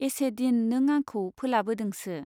एसेदिन नों आंखौ फोलाबोदोंसो ?